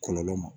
Kɔlɔlɔ ma